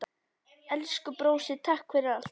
Elsku brósi, takk fyrir allt.